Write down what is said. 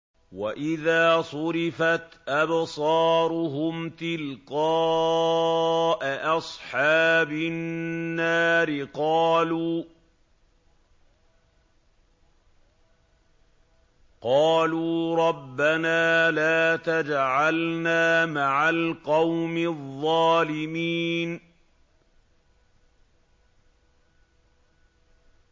۞ وَإِذَا صُرِفَتْ أَبْصَارُهُمْ تِلْقَاءَ أَصْحَابِ النَّارِ قَالُوا رَبَّنَا لَا تَجْعَلْنَا مَعَ الْقَوْمِ الظَّالِمِينَ